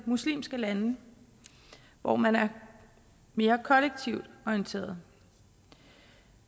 muslimske lande hvor man er mere kollektivt orienteret